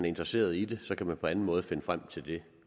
interesseret i det kan man på anden måde finde frem til det